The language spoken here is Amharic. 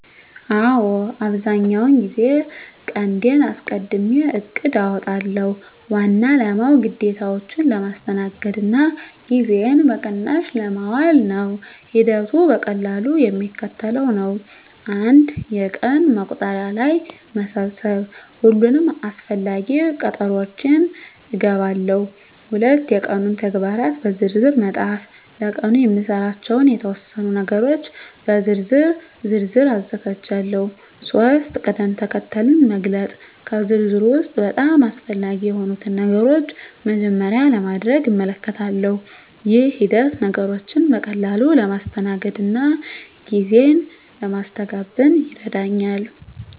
አዎ፣ አብዛኛውን ጊዜ ቀንዴን አስቀድሜ እቅድ አውጣለሁ። ዋና አላማው ግዴታዎቼን ለማስተናገድ እና ጊዜዬን በቅናሽ ለማዋል ነው። ሂደቱ በቀላሉ የሚከተለው ነው፦ 1. የቀን መቁጠሪያ ላይ መሰብሰብ ሁሉንም አስፈላጊ ቀጠሮዎቼን እገባለሁ። 2. የቀኑን ተግባራት በዝርዝር መፃፍ ለቀኑ የምሰራባቸውን የተወሰኑ ነገሮች በዝርዝር ዝርዝር አዘጋጃለሁ። 3. ቅድም-ተከተል መግለጽ ከዝርዝሩ ውስጥ በጣም አስፈላጊ የሆኑትን ነገሮች በመጀመሪያ ለማድረግ እመልከታለሁ። ይህ ሂደት ነገሮችን በቀላሉ ለማስተናገድ እና ጊዜ ለማስተጋበን ይረዳኛል።